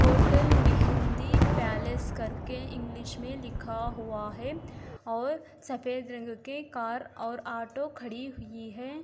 Hotel Mehndi palace कर के English में लिखा हुआ है और सफेद रंग के कार और ऑटो खड़ी हुई हैं।